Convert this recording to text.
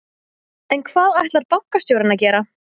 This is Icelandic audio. En hvað ætlar bankastjórinn að gera?